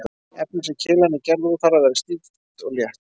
Efnið sem keilan er gerð úr þarf að vera stíft og létt.